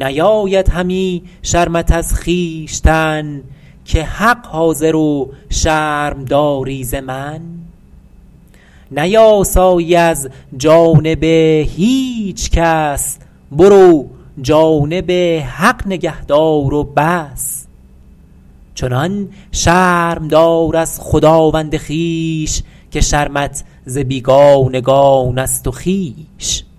نیاید همی شرمت از خویشتن که حق حاضر و شرم داری ز من نیاسایی از جانب هیچ کس برو جانب حق نگه دار و بس چنان شرم دار از خداوند خویش که شرمت ز بیگانگان است و خویش